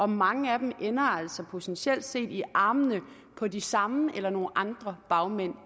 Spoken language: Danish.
mange af dem ender altså potentielt set i armene på de samme eller nogle andre bagmænd